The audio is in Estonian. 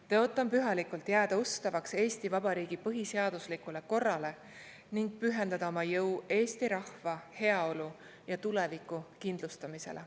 Tõotan pühalikult jääda ustavaks Eesti Vabariigi põhiseaduslikule korrale ning pühendada oma jõu eesti rahva heaolu ja tuleviku kindlustamisele.